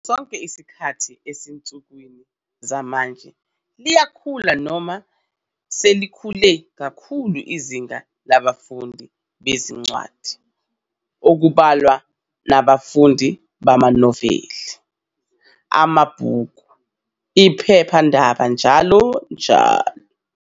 Ngaso sonke isikhathi, esinsukwini zamanje liyakhula noma selikhule kakhulu izinga labafundi bezincwadi okubalwa nabafundi bamaNoveli, amaBhuku, iPhephandaba njalo njalo.